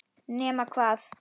Nema hvað!